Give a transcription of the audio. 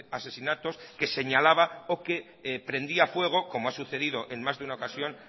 asesinatos que señalaba o que prendía fuego como ha sucedido en más de una ocasión